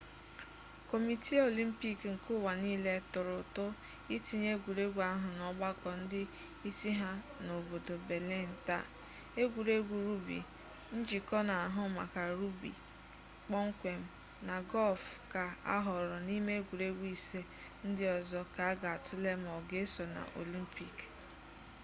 kọmitii olimpik nke ụwa niile tụrụ ụtụ itinye egwuregwu ahụ n'ọgbakọ ndị isi ha n'obodo belịn taa egwuregwu rugbi njikọ n'ahụ maka rugbi kpọmkwem na gọlf ka ahọọrọ n'ime egwuregwu ise ndị ọzọ ka a ga atụle ma ọ ga eso na olimpik